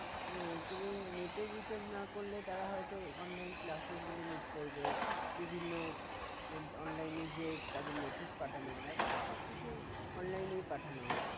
আহ তুমি net এর recharge না করলে তারা হয়তো online classes গুলো miss করবে বিভিন্ন online এ যে তাদের notice পাঠানো হয় এখন তো সব কিছুই online এই পাঠানো হয়